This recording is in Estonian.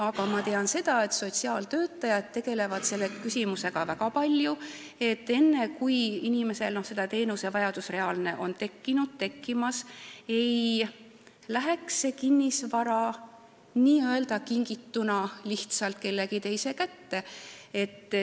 Aga ma tean, et sotsiaaltöötajad tegelevad väga palju selle küsimusega, et enne, kui inimesel on tekkinud reaalne teenusevajadus, ei läheks tema kinnisvara n-ö kingituna kellegi teise kätte.